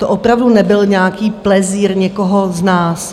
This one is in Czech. To opravdu nebyl nějaký plezír někoho z nás.